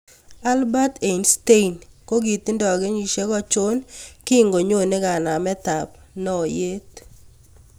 Albert Einstein kogiitindo kenyisiek achon kingonyone kanametap naayeet